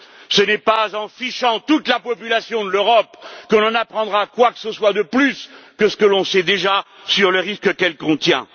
Ce n'est pas en fichant toute la population de l'Europe que l'on apprendra quoi que ce soit de plus que ce que l'on sait déjà sur le risque qu'elle contient.